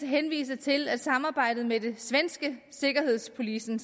henvise til at samarbejdet med det svenske säkerhetspolisen